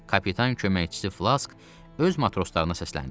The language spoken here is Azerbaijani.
Kapitan köməkçisi Flask öz matroslarına səsləndi.